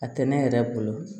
A tɛ ne yɛrɛ bolo